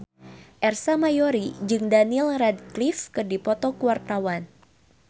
Ersa Mayori jeung Daniel Radcliffe keur dipoto ku wartawan